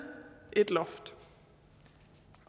et loft